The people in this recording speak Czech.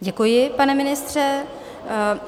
Děkuji, pane ministře.